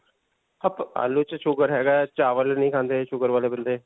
ਆਲੂ 'ਚ sugar ਹੈਗਾ ਹੈ. ਚਾਵਲ ਨਹੀਂ ਖਾਂਦੇ sugar ਵਾਲੇ ਬੰਦੇ'.